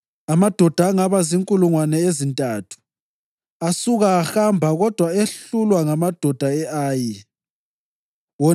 Amadoda angaba zinkulungwane ezintathu asuka ahamba kodwa ehlulwa ngamadoda e-Ayi, wona